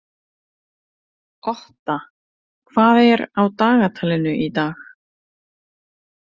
Otta, hvað er á dagatalinu í dag?